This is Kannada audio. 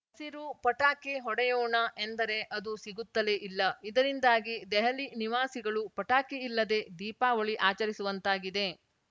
ಹಸಿರು ಪಟಾಕಿ ಹೊಡೆಯೋಣ ಎಂದರೆ ಅದು ಸಿಗುತ್ತಲೇ ಇಲ್ಲ ಇದರಿಂದಾಗಿ ದೆಹಲಿ ನಿವಾಸಿಗಳು ಪಟಾಕಿ ಇಲ್ಲದೇ ದೀಪಾವಳಿ ಆಚರಿಸುವಂತಾಗಿದೆ